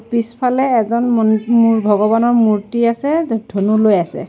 পিছফালে এজন মন মোৰ ভগৱানৰ মূৰ্তি আছে ধনু লৈ আছে।